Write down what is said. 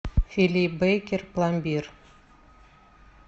фили бейкер пломбир